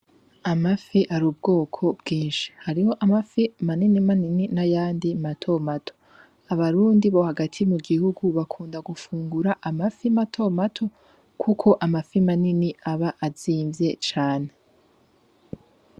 Amafi arubwoko bwinshi :hariho amafi maninimanini, n'ayandi matomato abarundi bo hagati mu gihugu hagati bakunda gufungura amafi matomato Kuko amafi manimani aba azimvye cane .